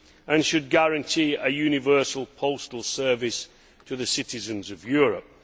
and should guarantee a universal postal service to the citizens of Europe.